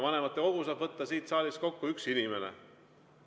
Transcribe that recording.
Vanematekogu saab kutsuda kokku üks inimene siit saalist.